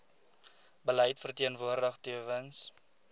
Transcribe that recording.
beleid verteenwoordig tewens